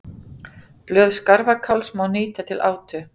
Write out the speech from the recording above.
blöð skarfakáls má nýta til átu